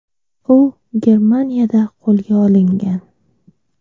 U Germaniyada qo‘lga olingan.